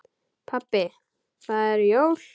Pabbi það eru jól.